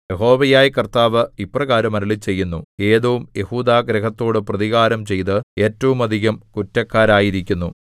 യഹോവയായ കർത്താവ് ഇപ്രകാരം അരുളിച്ചെയ്യുന്നു ഏദോം യെഹൂദാഗൃഹത്തോടു പ്രതികാരം ചെയ്ത് ഏറ്റവുമധികം കുറ്റക്കാരായിരിക്കുന്നു